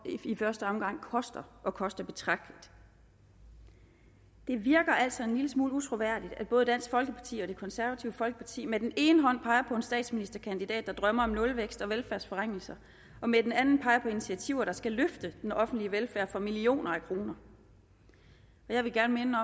i første omgang koster og koster betragteligt det virker altså en lille smule utroværdigt at både dansk folkeparti og det konservative folkeparti med den ene hånd peger på en statsministerkandidat der drømmer om nulvækst og velfærdsforringelser og med den anden peger på initiativer der skal løfte den offentlige velfærd for millioner af kroner jeg vil gerne